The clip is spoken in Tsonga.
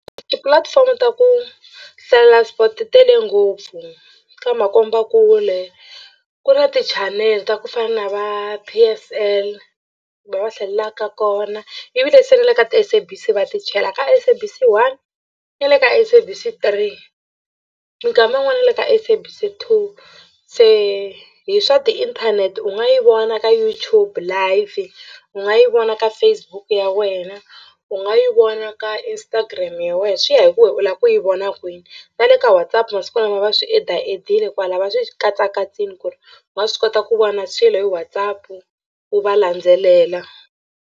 Tipulatifomo ta ku hlalela sport ti tele ngopfu ka makombakule ku na tichanele ta ku fana na va P_S_L la va hlalelaka kona ivile se ni le ka ti-SABC va ti chela ka SABC 1 na le ka SABC 3 minkama yin'wana na le ka SABC 2 se hi swa tiinthanete u nga yi vona ka YouTube live u nga yi vona ka Facebook ya wena u nga yi vona ka Instagram ya wehe swi ya hi ku we u lava ku yi vona kwini na le ka Whatsapp masiku lama va swi add-aadd-e kwalaya va swi katsakatsiwa ku ri u nga swi kota ku vona swilo hi WhatsApp u va landzelela.